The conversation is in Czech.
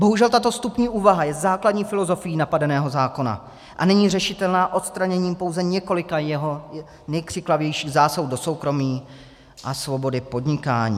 Bohužel tato vstupní úvaha je základní filozofií napadeného zákona a není řešitelná odstraněním pouze několika jeho nejkřiklavějších zásahů do soukromí a svobody podnikání.